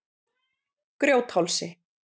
Grjóthálsi